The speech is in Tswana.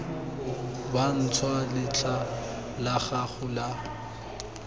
bantšhwa letlha la gago la